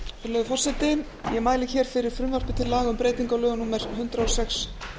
virðulegur forseti ég mæli fyrir frumvarpi til laga um breytingu á lögum númer hundrað og sex